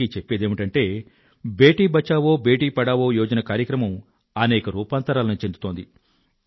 ఇంతకీ చెప్పేదేమిటంటే బేటీ బచావో బేటీ పఢావో యోజన కూడా అనేక రూపాంతరాలను చెందుతోంది